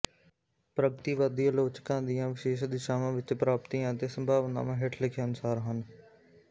ਪ੍ਰਗਤੀਵਾਦੀ ਆਲੋਚਕਾਂ ਦੀਆਂ ਵਿਸ਼ੇਸ਼ ਦਿਸ਼ਾਵਾਂ ਵਿੱਚ ਪ੍ਰਾਪਤੀਆਂ ਅਤੇ ਸੰਭਾਵਨਾਵਾਂ ਹੇਠ ਲਿਖੇ ਅਨੁਸਾਰ ਹਨ